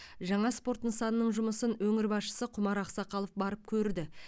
жаңа спорт нысанының жұмысын өңір басшысы құмар ақсақалов барып көрді